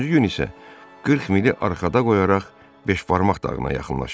Üçüncü gün isə 40 mili arxada qoyaraq beşbarmaq dağına yaxınlaşdılar.